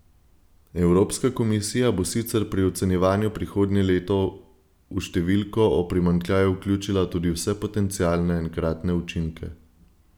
Evropska komisija bo sicer pri ocenjevanju prihodnje leto v številko o primanjkljaju vključila tudi vse potencialne enkratne učinke.